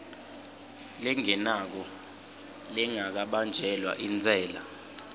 lengenako lengabanjelwa intsela